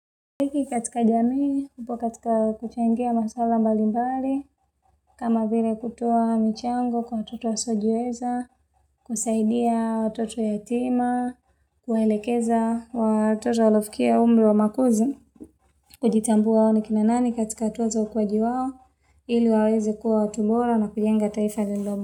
Dhiki katika jamii, hupo katika kuchangia maswala mbali mbali, kama vile kutoa michango kwa watoto wasiojiweza, kusaidia watoto yatima, kuwaelekeza watoto waliofikia umri wa makuzi. Kutambua ni kina nani katika tunzo na ukwaji wao, ili waweze kuwa watu bora na kujenga taifa.